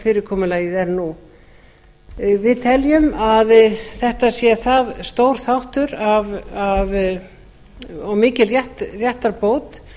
fyrirkomulagið er nú við teljum að þetta sé það stór þáttur og mikil réttarbót